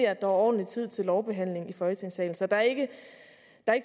er ordentlig tid til lovbehandling i folketingssalen så der er ikke